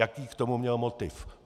Jaký k tomu měl motiv.